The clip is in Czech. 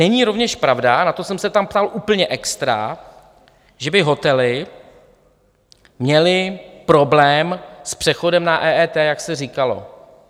Není rovněž pravda, na to jsem se tam ptal úplně extra, že by hotely měly problém s přechodem na EET, jak se říkalo.